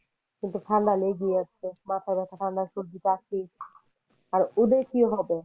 কিন্তু ঠান্ডা লেগেই আছে। মাথা ব্যথা, ঠাণ্ডা, সর্দী, কাশি আর ওদের কি হবে।